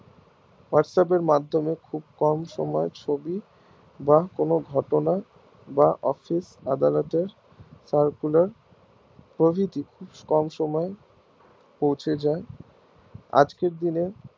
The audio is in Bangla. আজকের দিনে whats app এর মাধ্যমে খুব কম সময় ছবি বা কোনো ঘটনা বা office আদালতের প্রভৃতি খুব কম সময় পৌঁছে যাই আজকের দিনে